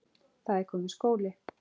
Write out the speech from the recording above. Það er kominn skóli.